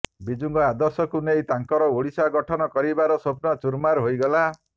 ବିଜୁଙ୍କ ଆଦର୍ଶକୁ ନେଇ ତାଙ୍କର ଓଡ଼ିଶା ଗଠନ କରିବାର ସ୍ୱପ୍ନ ଚୁର୍ମାର ହୋଇଗଲା